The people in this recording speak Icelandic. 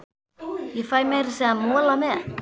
Ég fæ meira að segja mola með.